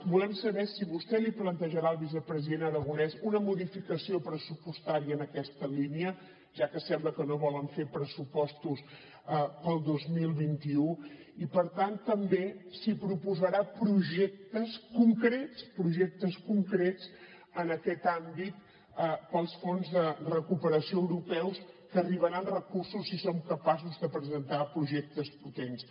volem saber si vostè li plantejarà al vicepresident aragonès una modificació pressupostària en aquesta línia ja que sembla que no volen fer pressupostos per al dos mil vint u i per tant també si proposarà projectes concrets projectes concrets en aquest àmbit per als fons de recuperació europeus que arribaran recursos si som capaços de presentar projectes potents